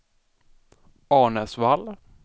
Arnäsvall